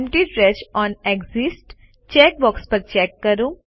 empty trash on exit check box check કરો